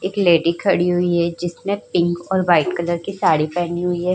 एक लेडी खड़ी हुवी है जिसने पिंक और वाइट कलर साड़ी पहनी हुवी है।